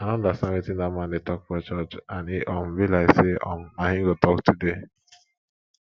i no understand wetin dat man dey talk for church and e um be like say um na him go talk today